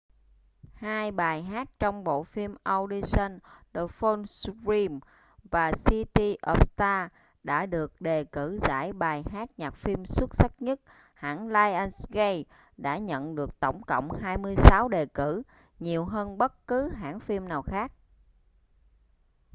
hai bài hát trong bộ phim audition the fools who dream và city of stars đã được đề cử giải bài hát nhạc phim xuất sắc nhất. hãng lionsgate đã nhận được tổng cộng 26 đề cử — nhiều hơn bất cứ hãng phim nào khác